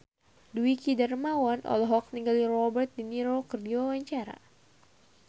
Dwiki Darmawan olohok ningali Robert de Niro keur diwawancara